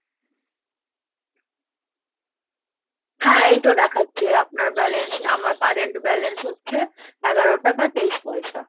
হ্যাঁ এইতো দেখাচ্ছে আপনার balance, আমার Current balance হচ্ছে, এগারো টাকা, তেইশ পয়সা।